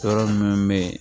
Yɔrɔ minnu bɛ yen